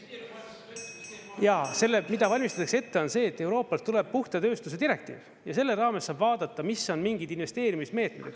Jaa, mida valmistatakse ette, on see, et Euroopast tuleb puhta tööstuse direktiiv ja selle raames saab vaadata, mis on mingid investeerimismeetmed.